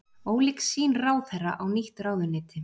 Ólík sýn ráðherra á nýtt ráðuneyti